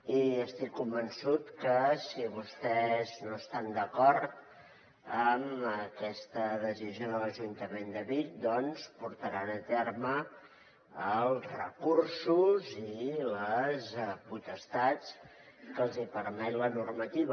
i estic convençut que si vostès no estan d’acord amb aquesta decisió de l’ajuntament de vic doncs portaran a terme els recursos i les potestats que els permet la normativa